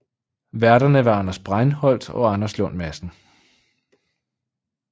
Værterne var Anders Breinholt og Anders Lund Madsen